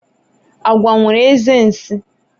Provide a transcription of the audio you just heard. agwo nwere eze nsi